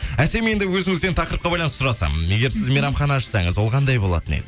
әсем енді өзіңізден тақырыпқа байланысты сұрасам егер сіз мейрамхана ашсаңыз ол қандай болатын еді